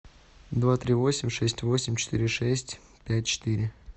два три восемь шесть восемь четыре шесть пять четыре